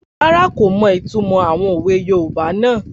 Rárá, kò mọ ìtumọ̀ àwọn òwe yoòbá náà